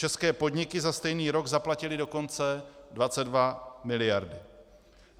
České podniky za stejný rok zaplatily dokonce 22 miliard.